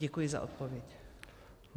Děkuji za odpověď.